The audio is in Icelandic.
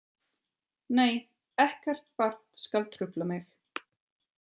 Nei ekkert barn skal trufla mig.